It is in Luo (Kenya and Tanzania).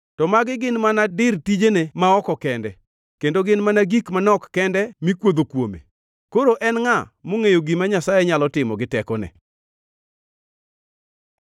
To magi gin mana dir tijene ma oko kende; kendo gin mana gik manok kende mikuodho kuome! Koro en ngʼa mongʼeyo gima Nyasaye nyalo timo gi tekone?”